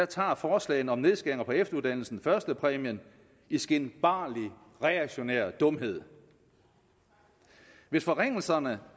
tager forslagene om nedskæringer på efteruddannelsen førstepræmien i skinbarlig reaktionær dumhed hvis forringelserne